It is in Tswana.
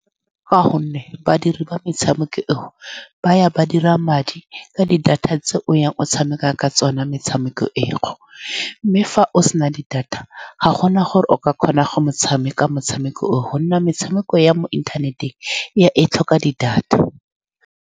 Ka gonne badiri ba metshameko eo ba ya ba dira madi ka di-data tse o yang o tshameka ka tsone metshameko eo, mme fa o se na di-data ga gona gore o ka kgona go tshameka motshameko oo, ka gonne metshameko ya mo inthaneteng ya, e tlhoka di-data.